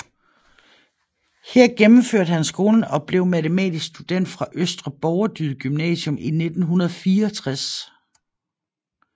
Her gennemførte han skolen og blev matematisk student fra Østre Borgerdyd Gymnasium i 1964